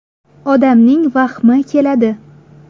Odamning vahmi keladi.